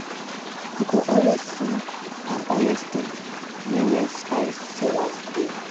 you go always see palm oil stain near where spice sellers dey.